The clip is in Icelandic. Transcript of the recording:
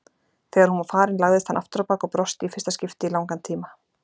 Þegar hún var farin lagðist hann afturábak og brosti í fyrsta skipti í langan tíma.